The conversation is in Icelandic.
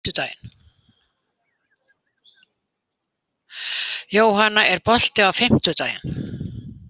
Jónanna, er bolti á fimmtudaginn?